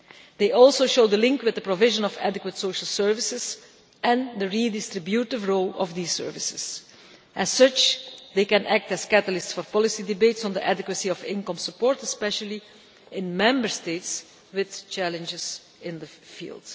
They also show the link with the provision of adequate social services and the redistributive role of these services. As such, they can act as catalysts for policy debates on the adequacy of income support, especially in Member States with challenges in the field.